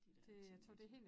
De dér teenagere